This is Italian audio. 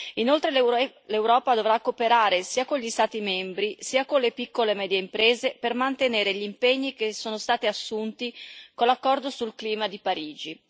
Inoltre, l'Europa dovrà cooperare sia con gli Stati membri sia con le piccole e medie imprese per mantenere gli impegni che sono stati assunti con l'accordo sul clima di Parigi.